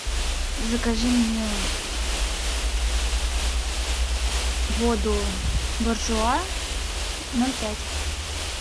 закажи мне воду буржуа ноль пять